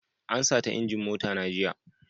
An sata injin mota na jiya.